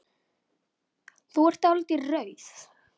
Þú er dáldið rauð.